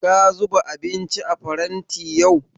Ka zuba abinci a faranti yau?